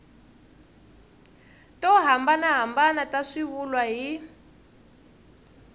to hambanahambana ta swivulwa hi